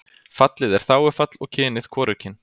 Fallið er þágufall og kynið hvorugkyn.